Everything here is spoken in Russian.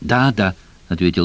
да да ответил